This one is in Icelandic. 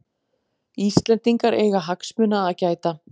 Íslendingar eiga hagsmuna að gæta